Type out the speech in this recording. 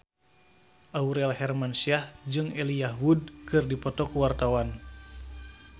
Aurel Hermansyah jeung Elijah Wood keur dipoto ku wartawan